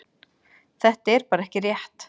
Þetta er bara ekki rétt.